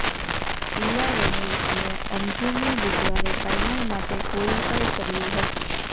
ઈલાવેનિલ અને અંજુમે બુધવારે ફાઇનલ માટે ક્વોલિફાય કર્યુ હતું